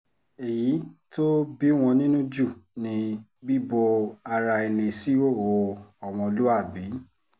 èyí tó bí wọn nínú jù ni bíbo ara ẹni síhòòhò ọmọlúàbí